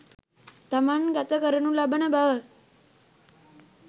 තමන් ගත කරනු ලබන බව